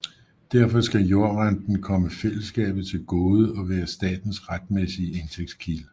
Derfor skal jordrenten komme fællesskabet til gode og være statens retmæssige indtægtskilde